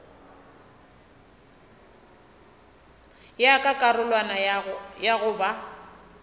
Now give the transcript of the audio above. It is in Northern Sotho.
ya ka karolwana ya goba